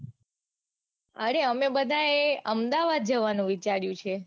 અરે અમે બધાએ અમદાવાદ જવાનું વિચાર્યું છે.